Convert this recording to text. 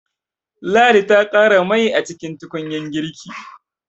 Ladi ta ƙara mai a cikin tukunyar girki.